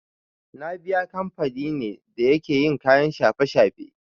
Nibiya kamfani ne da yake yin kayan shafe-shafe.